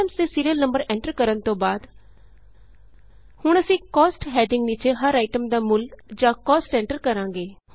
items ਦੇ serial number enter ਕਰਨ ਤੋਂ ਬਾਅਦ ਹੁਣ ਅਸੀਂ ਕੋਸਟ ਹੈਡਿੰਗ ਦੇ ਨੀਚੇ ਹਰ ਆਈਟਮ ਦਾ ਮੁੱਲ ਜਾਂ ਕਾਸਟ ਐਂਟਰ ਕਰਾਂਗੇ